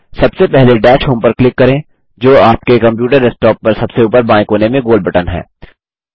सबसे पहले dash home पर क्लिक करें जो आपके कम्प्यूटर डेस्कटॉप पर सबसे ऊपर बाएं कोने में गोल बटन है